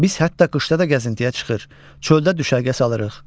Biz hətta qışda da gəzintiyə çıxır, çöldə düşərgə salırıq.